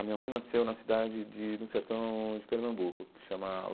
A minha mãe nasceu na cidade de de um sertão de Pernambuco que chama.